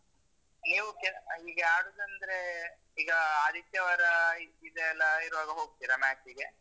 ನೀವು ಕೆ ~ ಈಗ ಆಡುದಂದ್ರೆ ಈಗ ಆದಿತ್ಯವಾರ ಇದೆಲ್ಲ ಇರುವಾಗ ಹೋಗ್ತಿರಾ, match ಗೆ?